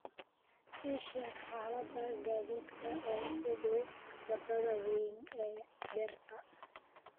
ii sheeg xaalada gaadiidka ee u dhow wadada weyn ee beerta